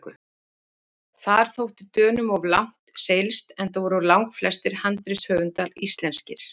Þar þótti Dönum of langt seilst, enda voru langflestir handritshöfunda íslenskir.